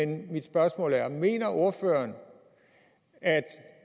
mit spørgsmål er mener ordføreren at